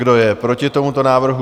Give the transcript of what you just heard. Kdo je proti tomuto návrhu?